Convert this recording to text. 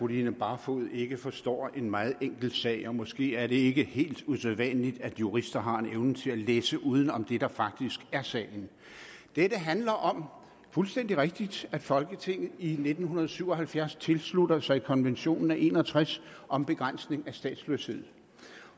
line barfod ikke forstår en meget enkel sag og måske er det ikke helt usædvanligt at jurister har en evne til at læse uden om det der faktisk dette handler om det fuldstændig rigtigt at folketinget i nitten syv og halvfjerds tilslutter sig konventionen af nitten en og tres om begrænsning af statsløshed